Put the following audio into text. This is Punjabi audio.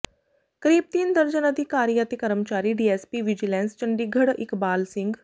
ਕਰੀਬ ਤਿੰਨ ਦਰਜਨ ਅਧਿਕਾਰੀ ਅਤੇ ਕਰਮਚਾਰੀ ਡੀਐੱਸਪੀ ਵਿਜੀਲੈਂਸ ਚੰਡੀਗੜ੍ਹ ਇਕਬਾਲ ਸਿੰਘ